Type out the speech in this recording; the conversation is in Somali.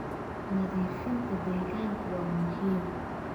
Nadiifinta deegaanka waa muhiim.